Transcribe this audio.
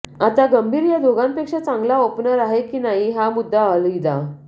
आता गंभीर ह्या दोघांपेक्षा चांगला ओपनर आहे कि नाही हा मुद्दा अलहिदा